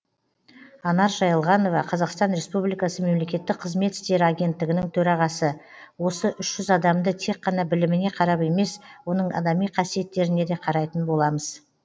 анар жайылғанова қазақстан республикасы мемлекеттік қызмет істері агенттігінің төрағасы осы үш жүз адамды тек қана біліміне қарап емес оның адами қасиеттеріне де қарайтын боламыз